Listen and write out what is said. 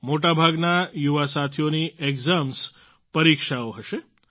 મોટાભાગના યુવા સાથીઓની એક્ઝામ્સ પરીક્ષાઓ હશે